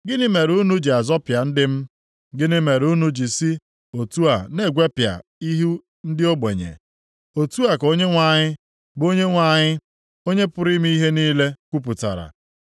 Gịnị mere unu ji azọpịa ndị m, “Gịnị mere unu ji si otu a na-egwepịa ihu ndị ogbenye?” Otu a ka Onyenwe anyị, bụ Onyenwe anyị, Onye pụrụ ime ihe niile kwupụtara.